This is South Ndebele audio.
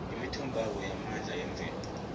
imithombabo yamandla yemvelo